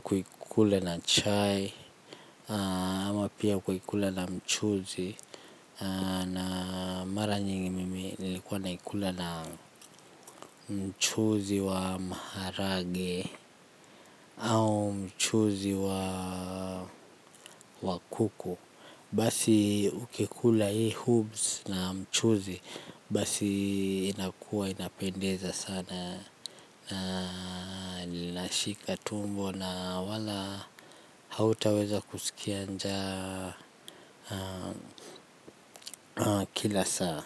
kuikula na chai, ama pia kuikula na mchuzi. Na mara nyingi mimi nilikuwa na ikula na mchuzi wa maharage au mchuzi wa kuku. Basi ukikula hii hoops na mchuzi basi inakuwa inapendeza sana na linashika tumbo na wala hautaweza kusikia njaa kila saa.